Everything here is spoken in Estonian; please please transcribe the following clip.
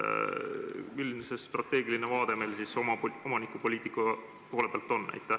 Milline meie strateegiline vaade omanikupoliitika seisukohalt on?